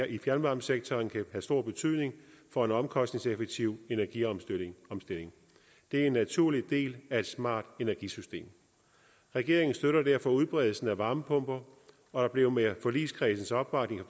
i fjernvarmesektoren kan have stor betydning for en omkostningseffektiv energiomstilling det er en naturlig del af et smart energisystem regeringen støtter derfor udbredelsen af varmepumper og der blev med forligskredsens opbakning i